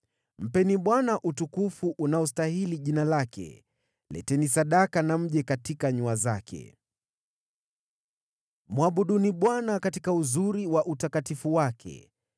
mpeni Bwana utukufu unaostahili jina lake. Leteni sadaka na mje katika nyua zake; mwabuduni Bwana katika uzuri wa utakatifu wake.